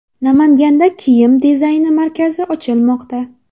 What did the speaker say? Namanganda kiyim dizayni markazi ochilmoqda.